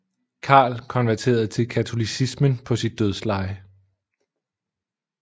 Karl konverterede til katolicismen på sit dødsleje